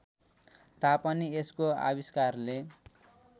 तापनि यसको आविष्कारले